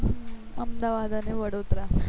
અમદાવાદ અને વડોદરા